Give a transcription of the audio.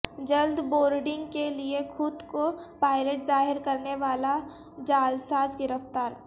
جلد بورڈنگ کے لیے خود کو پائلٹ ظاہر کرنے والا جعلساز گرفتار